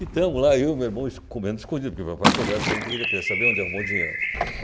E tamo lá, eu e o meu irmão esco comendo escondido, porque o papai soubesse que a gente ia, ainda queria saber onde arrumou o dinheiro.